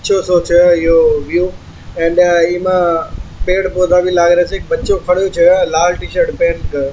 अछो सोचो है यो हो गयो अण्ड इमा पेड़ पौधा भी लागरे छे बच्चेा खड़ो छे लाल टीशर्ट पेहन कर।